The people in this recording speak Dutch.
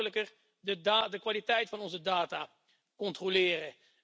We kunnen gemakkelijker de kwaliteit van onze data controleren.